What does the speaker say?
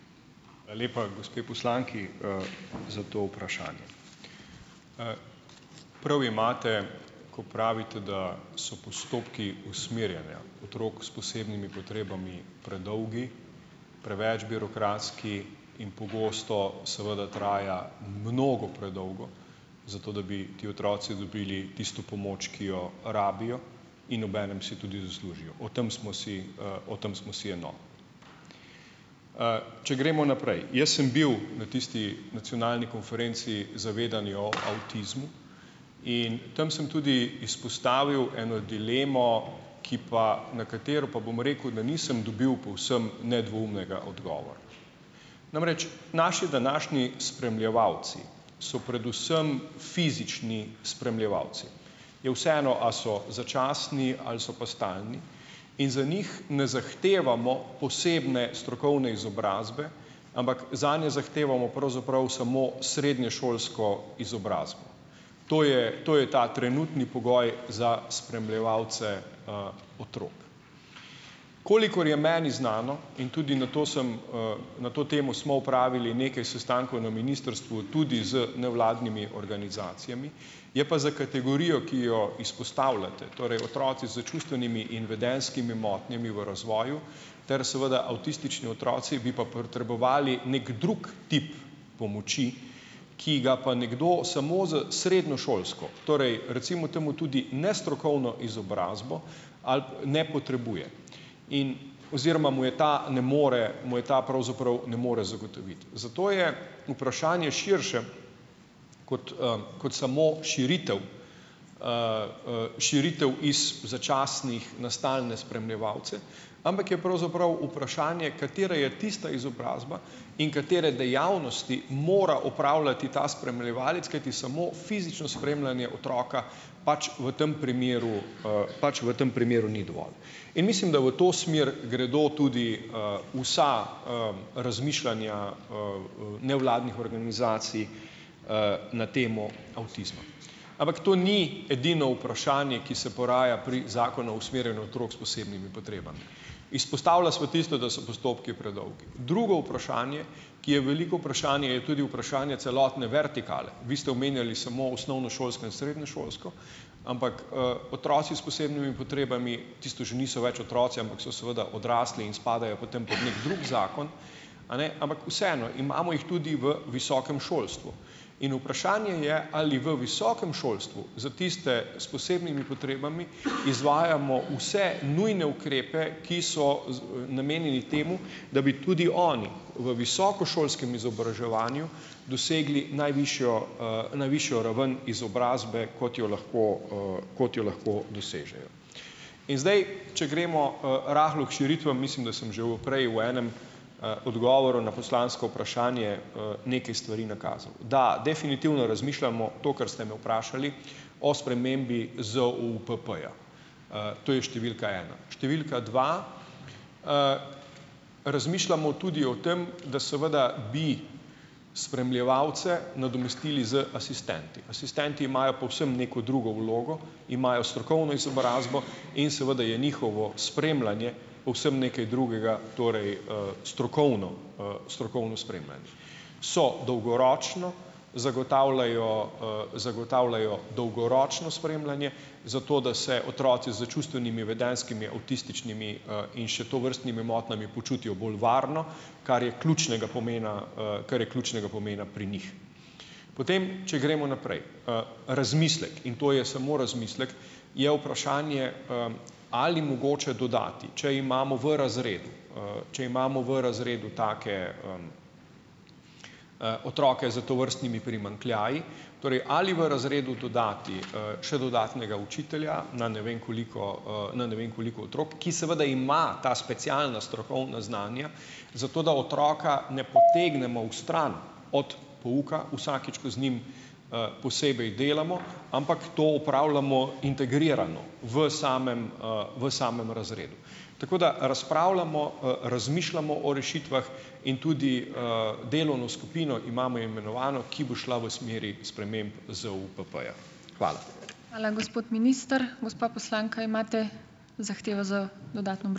Hvala lepa gospe poslanki, za to vprašanje. Prav imate, ko pravite, da so postopki usmerjanja otrok s posebnimi potrebami predolgi, preveč birokratski in pogosto seveda traja mnogo predolgo. Zato, da bi ti otroci dobili tisto pomoč, ki jo rabijo in obenem si tudi zaslužijo. O tem smo si, o tem smo si enotni. če gremo naprej. Jaz sem bil na tisti nacionalni konferenci Zavedanje o avtizmu in tam sem tudi izpostavil eno dilemo, ki pa nekatero, pa bom rekel, da nisem dobil povsem nedvoumnega odgovora. Namreč, naši današnji spremljevalci so predvsem fizični spremljevalci. Je vseeno, a so začasni ali so pa stalni. In za njih ne zahtevamo posebne strokovne izobrazbe, ampak zanje zahtevamo pravzaprav samo srednješolsko izobrazbo. To je, to je ta trenutni pogoj za spremljevalce, otrok. Kolikor je meni znano, in tudi na to sem , na to temo smo opravili nekaj sestankov na ministrstvu, tudi z nevladnimi organizacijami, je pa za kategorijo, ki jo izpostavljate, torej otroci s čustvenimi in vedenjskimi motnjami v razvoju, ter seveda avtistični otroci, bi pa potrebovali neki drug tip pomoči, ki ga pa nekdo samo z srednješolsko, torej recimo temu tudi nestrokovno izobrazbo, ali ne potrebuje. In oziroma mu je ta ne more, mu je ta pravzaprav ne more zagotoviti. Zato je vprašanje širše kot, kot samo širitev, širitev iz začasnih na stalne spremljevalce. Ampak je pravzaprav vprašanje, katera je tista izobrazba in katere dejavnosti mora opravljati ta spremljevalec, kajti samo fizično spremljanje otroka pač v tem primeru , pač v tem primeru ni dovolj. In mislim, da v to smer gredo tudi, vsa, razmišljanja, nevladnih organizacij, na temo avtizma. Ampak to ni edino vprašanje, ki se poraja pri Zakonu o usmerjanju otrok s posebnimi potrebami. Izpostavljali smo tisto, da so postopki predolgi. Drugo vprašanje, ki je veliko vprašanje, je tudi vprašanje celotne vertikale. Vi ste omenjali samo osnovnošolsko in srednješolsko, ampak, otroci s posebnimi potrebami, tisto že niso več otroci, ampak so seveda odrasli in spadajo v neki drug zakon , a ne, ampak vseeno, imamo jih tudi v visokem šolstvu. In vprašanje je, ali v visokem šolstvu, za tiste s posebnimi potrebami , izvajamo vse nujne ukrepe, ki so namenjeni temu, da bi tudi oni v visokošolskem izobraževanju dosegli najvišjo, najvišjo raven izobrazbe, kot jo lahko, kot jo lahko dosežejo. In zdaj, če gremo, rahlo k širitvam, mislim, da sem že v prej v enem, odgovoril na poslansko vprašanje, nekaj stvari nakazal. Da definitivno razmišljamo, to, kar ste me vprašali, o spremembi ZOUPP-ja. to je številka ena. Številka dva, razmišljamo tudi o tem, da seveda bi spremljevalce nadomestili z asistenti. Asistenti imajo povsem neko drugo vlogo, imajo strokovno izobrazbo in seveda je njihovo spremljanje povsem nekaj drugega, torej, strokovno, strokovno spremljanje. So dolgoročno, zagotavljajo, zagotavljajo dolgoročno spremljanje, zato da se otroci z čustvenimi, vedenjskimi, avtističnimi, in še tovrstnimi motnjami počutijo bolj varno, kar je ključnega pomena, kar je ključnega pomena pri njih. Potem, če gremo naprej. Razmislek. In to je samo razmislek. Je vprašanje, ali mogoče dodati, če imamo v razredu, če imamo v razredu take, otroke s tovrstnimi primanjkljaji, torej ali v razredu dodati, še dodatnega učitelja, na ne vem koliko, na ne vem koliko otrok, ki seveda ima ta specialnost, strokovna znanja, zato da otroka ne potegnemo vstran od pouka vsakič, ko z njim, posebej delamo, ampak to opravljamo integrirano v samem, v samem razredu. Tako da, razpravljamo, razmišljamo o rešitvah in tudi, delovno skupino imamo imenovano, ki bo šla v smeri sprememb ZUPP-ja. Hvala. Hvala gospod minister. Gospa poslanka, imate zahtevo za dodatno ...